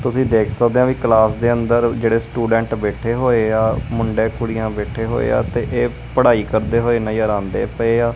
ਤੁਸੀਂ ਦੇਖ ਸਕਦੇਆ ਵਈ ਕਲਾਸ ਦੇ ਅੰਦਰ ਜੇਹੜੇ ਸਟੂਡੈਂਟ ਬੈਠੇ ਬੋਏ ਆ ਮੁੰਡੇ ਕੁੜੀਆਂ ਬੈਠੇ ਹੋਏ ਆ ਤੇ ਏਹ ਪੜ੍ਹਾਈ ਕਰਦੇ ਹੋਏ ਨਜ਼ਰ ਆਂਦੇ ਪਏ ਆ।